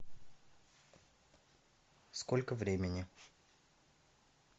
сколько времени